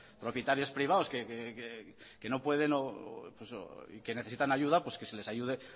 propietarios privados que no pueden que necesitan ayuda que se les ayude